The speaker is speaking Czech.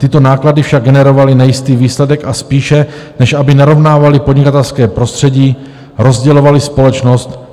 Tyto náklady však generovaly nejistý výsledek, a spíše než aby narovnávaly podnikatelské prostředí, rozdělovaly společnost.